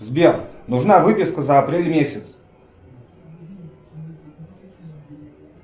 сбер нужна выписка за апрель месяц